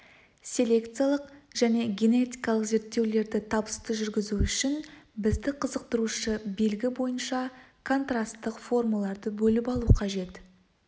селекциялық және генетикалық зерттеулерді табысты жүргізу үшін бізді қызықтырушы белгі бойынша контрасттық формаларды бөліп алу қажет